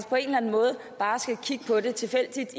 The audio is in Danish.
på en eller anden måde bare skal kigge tilfældigt